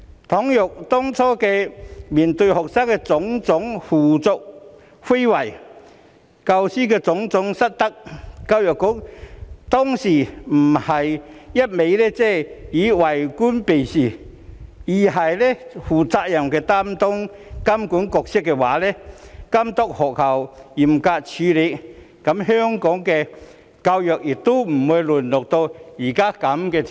倘若當初面對學生的種種胡作非為、教師的種種失德時，教育局不是一味為官避事，而是負責任地擔當監管角色，監督學校嚴格處理，香港的教育亦不會淪落至此。